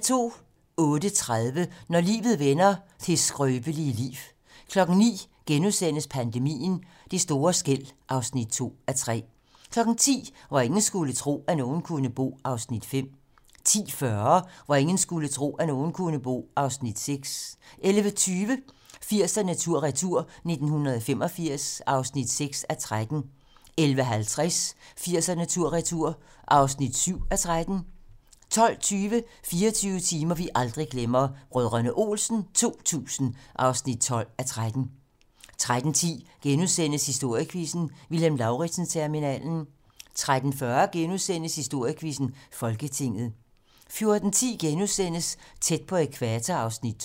08:30: Når livet vender - det skrøbelige liv 09:00: Pandemien - Det store skel (2:3)* 10:00: Hvor ingen skulle tro, at nogen kunne bo (Afs. 5) 10:40: Hvor ingen skulle tro, at nogen kunne bo (Afs. 6) 11:20: 80'erne tur-retur: 1985 (6:13) 11:50: 80'erne tur-retur (7:13) 12:20: 24 timer, vi aldrig glemmer: Brdr. Olsen 2000 (12:13) 13:10: Historiequizzen: Vilhelm Lauritzen-terminalen * 13:40: Historiequizzen: Folketinget * 14:10: Tæt på ækvator (Afs. 2)*